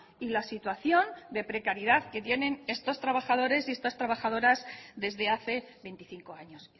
y la situación de precariedad que tienen estos trabajadores y estas trabajadoras desde hace veinticinco años